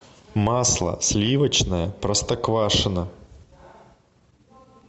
масло сливочное простоквашино